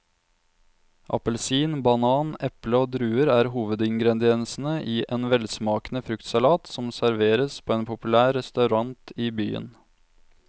Appelsin, banan, eple og druer er hovedingredienser i en velsmakende fruktsalat som serveres på en populær restaurant i byen.